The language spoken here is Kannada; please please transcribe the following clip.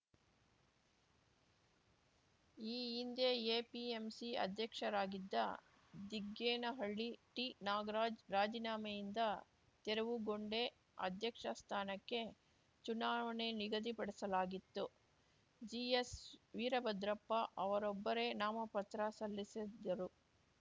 ಈ ಹಿಂದೆ ಎಪಿಎಂಸಿ ಅಧ್ಯಕ್ಷರಾಗಿದ್ದ ದಿಗ್ಗೇನಹಳ್ಳಿ ಟಿನಾಗರಾಜ್‌ ರಾಜಿನಾಮೆಯಿಂದ ತೆರವುಗೊಂಡೆ ಅಧ್ಯಕ್ಷ ಸ್ಥಾನಕ್ಕೆ ಚುನಾವಣೆ ನಿಗದಿಪಡಿಸಲಾಗಿತ್ತು ಜಿಎಸ್‌ವೀರಭದ್ರಪ್ಪ ಅವರೊಬ್ಬರೇ ನಾಮಪತ್ರ ಸಲ್ಲಿಸಿದ್ದರು